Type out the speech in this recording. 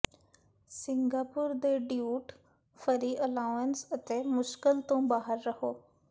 Singapore ਦੇ duty free allowance ਅਤੇ ਮੁਸ਼ਕਲ ਤੋਂ ਬਾਹਰ ਰਹੋ